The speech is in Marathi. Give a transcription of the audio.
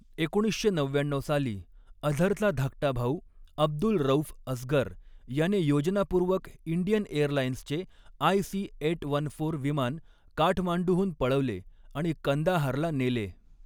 एकोणीसशे नव्याण्णऊ साली अझरचा धाकटा भाऊ अब्दुल रऊफ असगर याने योजनापूर्वक इंडियन एअरलाइन्सचे आयसी एट वन फोर विमान काठमांडूहून पळवले आणि कंदाहारला नेले.